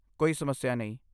ਕੋਈ ਸਮੱਸਿਆ ਨਹੀਂ।